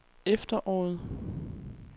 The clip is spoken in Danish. efteråret